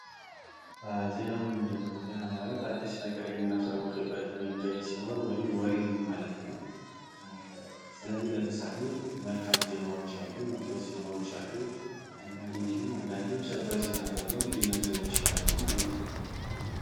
ዜና ምንድነው ?ዜና ማለት አዲስ ነገር የሚናሳውቅበት መንገድ ሲሆን ወይም ወሬ ነው ማለት ነው። ስለዚህ ለምሳሌ መልካም ዜናዎች አሉ ።መጥፎ ዜናዎች አሉ። እንዲሁም አንዳንዴ ሰበር ዜና ተብሎ ሊነገሩ ይችላሉ ማለት ነው።